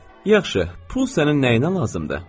Yaxşı, pul sənin nəyinə lazımdır?